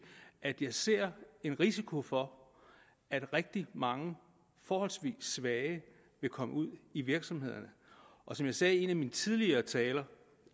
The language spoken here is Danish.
at jeg ser en risiko for at rigtig mange forholdsvis svage vil komme ud i virksomhederne og som jeg sagde i en af mine tidligere taler